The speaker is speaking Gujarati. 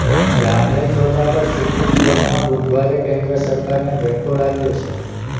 રાફેલ સોદા પર સુપ્રીમ કોર્ટમાં બુધવારે કેન્દ્ર સરકારને ઝટકો લાગ્યો છે